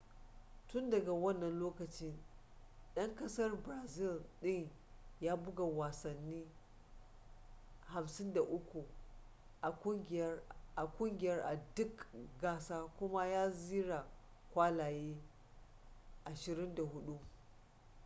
tun daga wannan lokacin dan kasar brazil din ya buga wasanni 53 a kungiyar a duk gasa kuma ya zira kwallaye 24